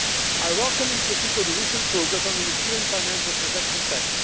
I welcome in particular the recent progress on a European Financial Transaction Tax.